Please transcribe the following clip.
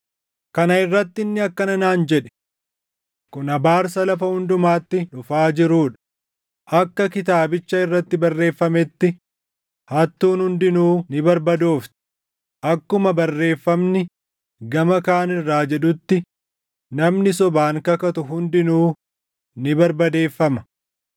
Kana irratti inni akkana naan jedhe; “Kun abaarsa lafa hundumatti dhufaa jiruu dha; akka kitaabicha irratti barreeffametti, hattuun hundinuu ni barbadoofti; akkuma barreeffamni gama kaan irraa jedhutti namni sobaan kakatu hundinuu ni barbadeeffama.